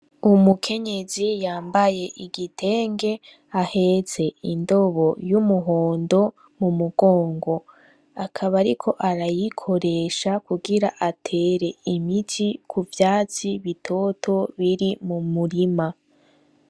Umukenyezi yambaye igitenge ahetse indobo y'umuhondo mu mugongo, akaba ariko arayikoresha kugira atere imiti ku vyatsi bitoto biri mu murima.